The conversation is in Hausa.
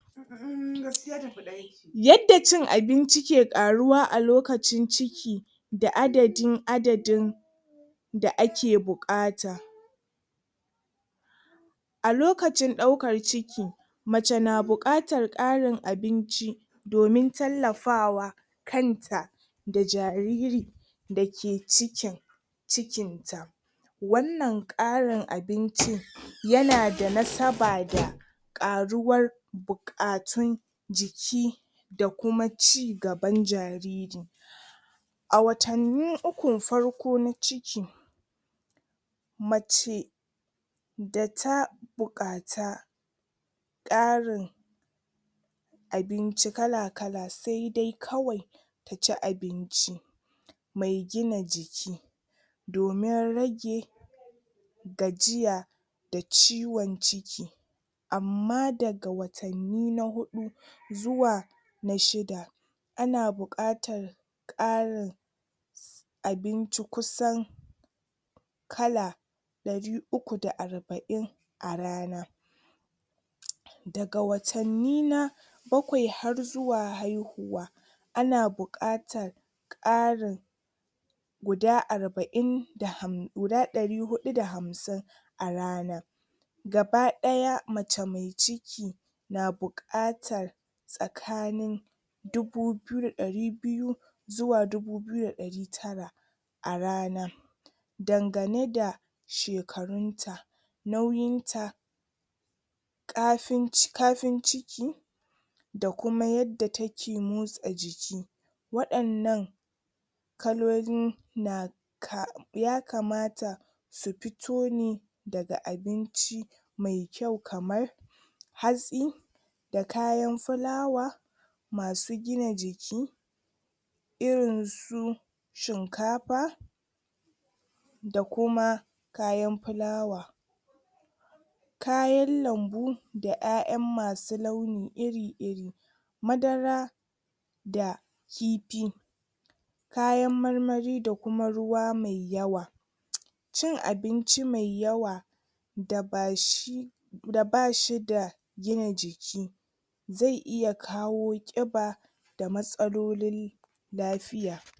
yadda cin abincin ke ƙaruwa a lokacin ciki da adaddin adadin da ake buƙata a lokacin daukar ciki mace na buƙatar ƙarin abinci domin tallafawa kanta da jariri dake cikin cikin ta wanan ƙarin abincin yanada nasaba da ƙaruwar buƙakatun jiki da kuma ci gaban jariri a watanni uku farko na ciki mace data buƙata ƙarin abinci kalakala saidai kawai taci abinci me gina jiki domin rage gajiya da ciwon ciki amma daga watanni na huɗu zuwa na shida ana buƙatan ƙarin abinci kusan kala ɗari uku da arbain a rana daga watanni na bakwai har zuwa haihuwa ana buƙatan ƙarin guda arbain da ham guda ɗari huɗu da hamsin a rana gabaɗaya mace me ciki na buƙatan tsakanin dubu biyu da ɗari biyu zuwa dubu biyu da ɗari tara a rana dangane da shekarunta nauyin ta ƙafin ci ƙafin ciki da kuma yadda take motsa jiki wadannan kalolin na ka ya kamata su pito ne daga abinci me kyau kamar hatsi da kayan filawa masu gina jiki trin su shinkafa da kuma kayan filawa kayan lambu ƴaƴan masu launi irir iri madara da kifi kayan marmari da kuma ruwa me yawa cin abinci me yawa da ba shi da bashda gina jiki zai iya kawo ƙiba da matsalolin lafiya